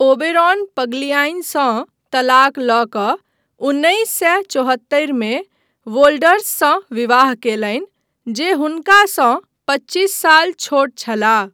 Oberon पग्लियाईसँ तलाक लऽ कऽ उन्नैस सए चौहत्तरि मे वोल्डर्ससँ विवाह कयलनि, जे हुनकासँ पच्चीस साल छोट छलाह।